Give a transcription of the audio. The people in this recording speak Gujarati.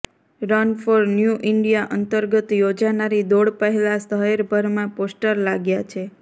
રન ફોર ન્યૂ ઈન્ડિયા અંતર્ગત યોજાનારી દોડ પહેલા શહેરભરમાં પોસ્ટર લાગ્યા છે